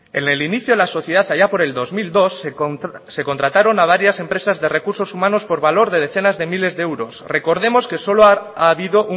en el inicio de la sociedad haya por el dos mil dos se contrataron a varias empresas de recursos humanos por valor de decenas de miles de euros recordemos que solo ha habido